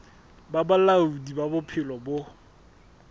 ba bolaodi ba bophelo bo